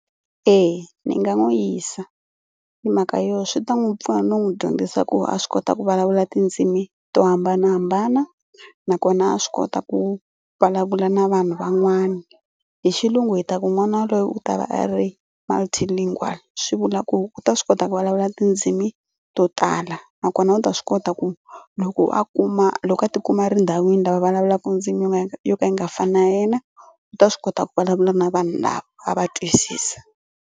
Eya ni nga n'wi yisa hi mhaka yo swi ta n'wi pfuna no n'wi dyondzisa ku a swi kota ku vulavula tidzimi to hambanahambana nakona a swi kota ku vulavula na vanhu van'wana. Hi xilungu hi ta ku n'wana loyi u ta va a ri multilingual swi vula ku u ta swi kota ku vulavula tindzimi to tala nakona u ta swi kota ku loko a kuma loko a tikuma a ri endhawini lava vulavulaka ndzimi yo ka yi nga yo ka yi nga fani na ya yena u ta swi kota ku vulavula na vanhu lava a va twisisa.